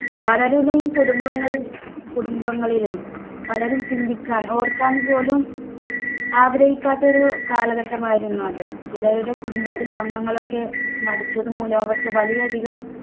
പലരുടെയും കുടുംബങ്ങൾ കുടുംബങ്ങളിലും പലരും ചിന്തിക്കാൻ ഓർക്കാൻ പോലും ആഗ്രഹിക്കാത്ത ഒരു കാലഘട്ടമായിരുന്നു അത്. ചിലരുടെ കുടുംബത്തിലെ അംഗങ്ങൾ ഒക്കെ മരിച്ചത് മൂലം അവർക്ക് വലിയധികം